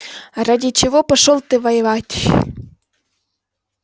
ради чего пошёл ты воевать